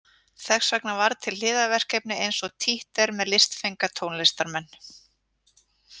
Þess vegna varð til hliðarverkefni eins og títt er með listfenga tónlistarmenn.